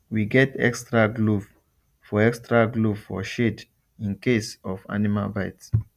we get extra glove for extra glove for shed in case of animal bite